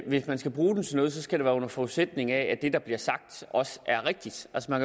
hvis man skal bruge den til noget skal være under forudsætning af at det der bliver sagt også er rigtigt altså